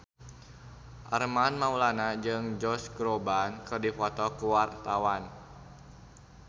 Armand Maulana jeung Josh Groban keur dipoto ku wartawan